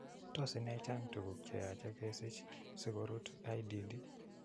Tos ine chang tuguk che yoche kesich sigorut IDD.